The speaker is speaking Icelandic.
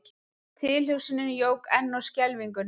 Tilhugsunin jók enn á skelfinguna.